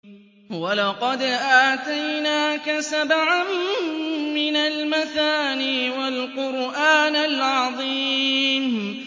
وَلَقَدْ آتَيْنَاكَ سَبْعًا مِّنَ الْمَثَانِي وَالْقُرْآنَ الْعَظِيمَ